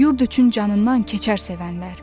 Yurd üçün canından keçər sevənlər.